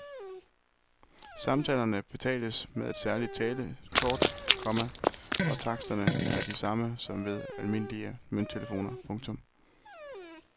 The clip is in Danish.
Samtalerne betales med et særligt telekort, komma og taksterne er de samme som ved almindelige mønttelefoner. punktum